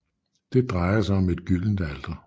Det drejer sig om et gyldent alter